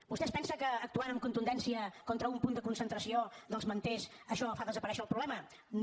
vostè es pensa que actuant amb contundència contra un punt de concentració dels manters això fa desaparèixer el problema no